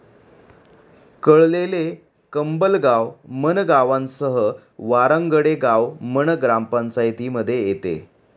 कळलेले, कंबलगाव, मन गावांसह वारांगडे गाव मन ग्रामपंचायतीमध्ये येते.